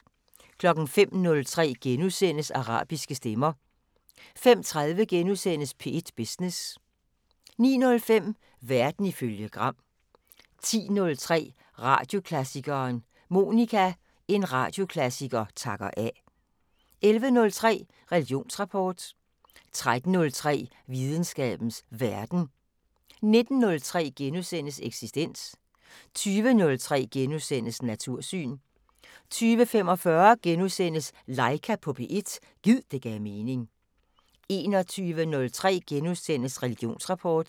05:03: Arabiske stemmer * 05:30: P1 Business * 09:05: Verden ifølge Gram 10:03: Radioklassikeren: Monica – En radioklassiker takker af 11:03: Religionsrapport 13:03: Videnskabens Verden 19:03: Eksistens * 20:03: Natursyn * 20:45: Laika på P1 – gid det gav mening * 21:03: Religionsrapport *